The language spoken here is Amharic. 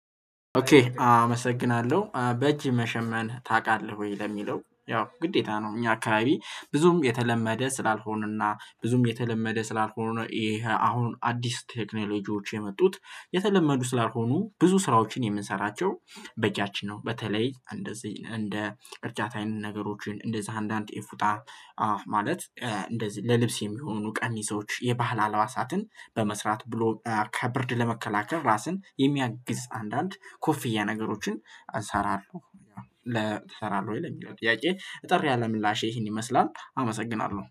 ኦኬ አመሰግናለሁ በእጅ መሸመን ታውቃለህ ወይ? ለሚለው ያው ግዴታ ነው እኛ አካባቢ ብዙም የተለመደ ስላልሆነና ብዙም የተለመደ ስላልሆነ ነው። ይሄ አሁን አዲስ ቴክኖሎጂዎች የመጡት የተለመዱ ስላልሆኑ ብዙ ስራዎችን የምንሰራቸው በእጃችን ነው። በተለይ እንደዚህ እንደ እርጃታዊ ነገሮችን እንደዚህ አንዳንድ ኢፉጣ ማለት ከ እንደዚህ ለልብስ የሚሆኑ ቀሚሶች የባህል ሀልባሳትን በመስራት ብሎ ከብርድ ለመከላከል ራስን የሚያግዝ አንዳንድ ኮፍያ ነገሮችን እሰራለሁ። ትሰራለህ ወይ ለሚለው ጥያቄ ጥሪ ያለ ምላሼ ይሄን ይመስላል አመሰግናለሁ